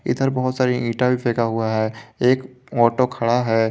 इधर बहोत सारी ईटा फेंका हुआ है एक ऑटो खड़ा है।